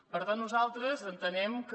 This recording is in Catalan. per tant nosaltres entenem que